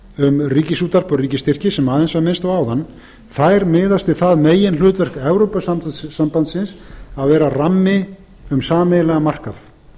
um ríkisútvarp og ríkisstyrki sem aðeins var minnst á áðan miðast við það meginhlutverk evrópusambandsins að vera rammi um sameiginlegan markað